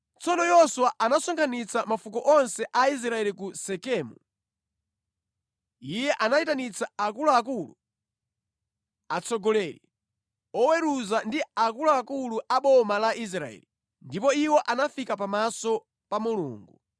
Tsono Yoswa anasonkhanitsa mafuko onse a Israeli ku Sekemu. Iye anayitanitsa akuluakulu, atsogoleri, oweruza, ndi akuluakulu a boma la Israeli, ndipo iwo anafika pamaso pa Mulungu.